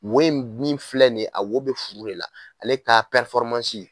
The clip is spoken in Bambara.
Wo in min filɛ nin ye a wo bɛ furu de la ale k'a